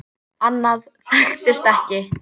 Annað þekktist ekki.